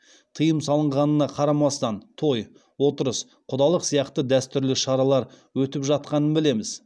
тыйым салынғанына қарамастан той отырыс құдалық сияқты дәстүрлі шаралар өтіп жатқанын білеміз